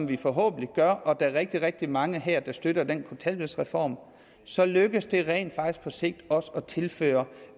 vi forhåbentlig gør og der er rigtig rigtig mange her der støtter den kontanthjælpsreform så lykkes det rent faktisk på sigt også at tilføre